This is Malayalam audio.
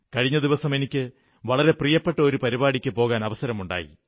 കഴിഞ്ഞ ദിവസം എനിക്ക് വളരെ പ്രിയപ്പെട്ട ഒരു പരിപാടിക്ക് പോകാൻ അവസരമുണ്ടായി